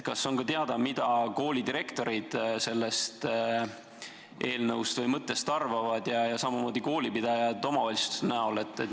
Kas on ka teada, mida koolidirektorid sellest eelnõust või mõttest arvavad ja samamoodi koolipidajad ehk omavalitsused?